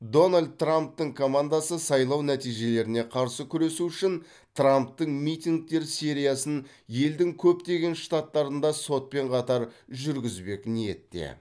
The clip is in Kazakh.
дональд трамптың командасы сайлау нәтижелеріне қарсы күресу үшін трамптың митингтер сериясын елдің көптеген штаттарында сотпен қатар жүргізбек ниетте